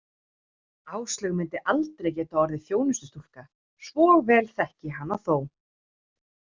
Áslaug myndi aldrei geta orðið þjónustustúlka, svo vel þekkti ég hana þó.